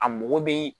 A mɔgɔ bɛ